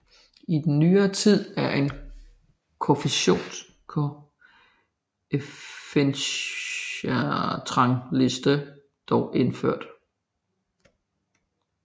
I nyere tid er en koefficientrangliste dog indført